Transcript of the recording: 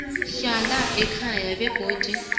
hlala ekhaya begodu